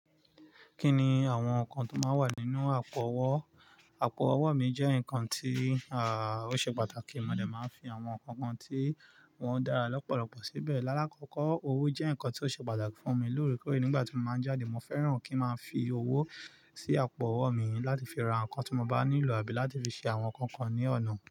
Kí ni àwọn nǹkan tó máa ń wà nínú àpò owó? Àpò ọwọ mi jẹ́ nǹkan tí, à, ó ṣe pàtàkì. Mo dà máa ń fi àwọn nǹkan kan tí wọ́n dára lọ́pọ̀lọpọ̀ síbẹ̀. Lálkọ́kọ́, owó jẹ́ nǹkan tí ó ṣe pàtàkì fún mi lórí kórí. Nígbà tí mo máa ń jáde, mo fẹ́ràn kí ó máa fi owó sí àpò owó mi láti fi ra nǹkan tí mo bá nílò àbí láti fi ṣe àwọn nǹkan kan ní ọ̀nà.